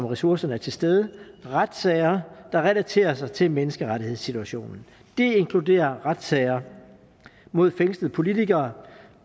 ressourcerne er til stede retssager der relaterer sig til menneskerettighedssituationen det inkluderer retssager mod fængslede politikere